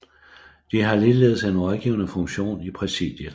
De har ligeledes en rådgivende funktion i præsidiet